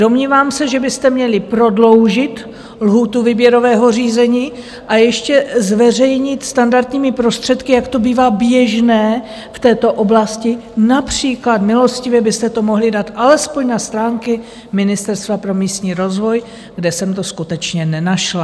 Domnívám se, že byste měli prodloužit lhůtu výběrového řízení a ještě zveřejnit standardními prostředky, jak to bývá běžné v této oblasti, například milostivě byste to mohli dát alespoň na stránky Ministerstva pro místní rozvoj, kde jsem to skutečně nenašla.